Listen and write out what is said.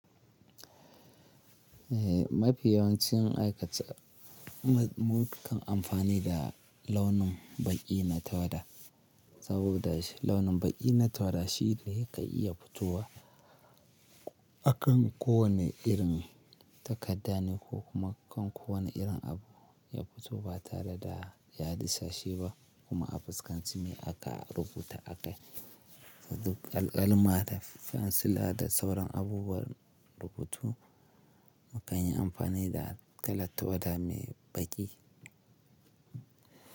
Eh, mafi yawancin aikace mu-mu kan amfani da launin baƙi na tawada saboda launin baƙi na tawada shi ne ke iya fitowa akan kowane irin takadda ne ko kuma kan kowane irin abu ya fito ba tare da ya disashe ba kuma a fuskanci me aka rubuta a kai. Duk alƙalama da fensila da sauran abubuwan rubutu mu kan yi amfani da kalar tawada mai baƙi.